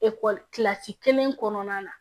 kilasi kelen kɔnɔna na